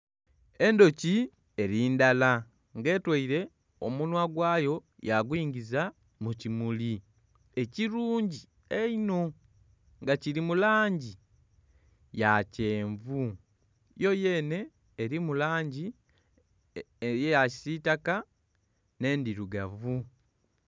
Endhuki eri ndala nga etweire omunwa gwayo yagunyiza mu kimuli ekirungi einho nga kiri mu langi ya kyenvu. Yo yeene erimu langi eya kisitaka ne ndirugavu